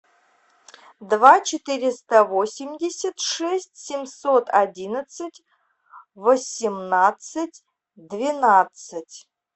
два четыреста восемьдесят шесть семьсот одиннадцать восемнадцать двенадцать